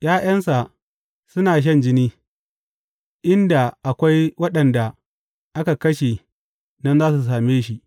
’Ya’yansa suna shan jini, inda akwai waɗanda aka kashe nan za a same shi.